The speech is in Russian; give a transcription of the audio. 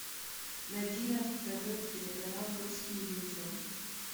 найди на тв телеканал русский иллюзион